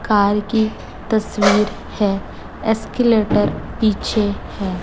Car की तस्वीर है एस्केलेटर पीछे है।